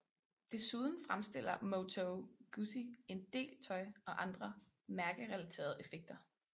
Desuden fremstiller Moto Guzzi en del tøj og andre mærkerelaterede effekter